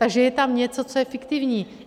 Takže je tam něco, co je fiktivní.